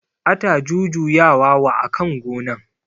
Ata jujuya wa akan gonan